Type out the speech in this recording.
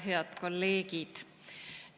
Head kolleegid!